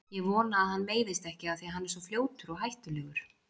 Ég vona að hann meiðist ekki af því að hann er svo fljótur og hættulegur.